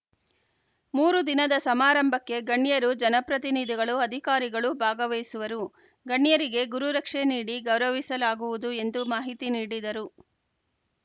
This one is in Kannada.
ಮೂರೂ ದಿನದ ಸಮಾರಂಭಕ್ಕೆ ಗಣ್ಯರು ಜನ ಪ್ರತಿನಿಧಿಗಳು ಅಧಿಕಾರಿಗಳು ಭಾಗವಹಿಸುವರು ಗಣ್ಯರಿಗೆ ಗುರುರಕ್ಷೆ ನೀಡಿ ಗೌರವಿಸಲಾಗುವುದು ಎಂದು ಮಾಹಿತಿ ನೀಡಿದರು